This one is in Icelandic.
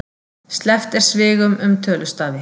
Sleppt er svigum um tölustafi.